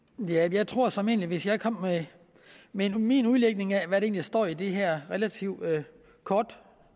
jeg tror såmænd at hvis jeg kom med med min udlægning af hvad der egentlig står i det her relativt korte